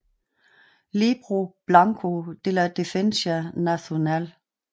Libro Blanco de la Defensa Nacional